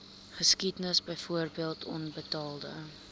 geskiedenis byvoorbeeld onbetaalde